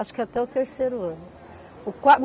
Acho que até o terceiro ano. O quar